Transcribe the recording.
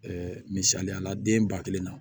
misaliyala den ba kelen na